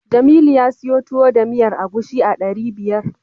Jamilu ya siyo Tuwo da miyar agushi a ɗari biyar.